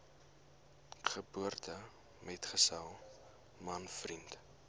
geboortemetgesel man vriend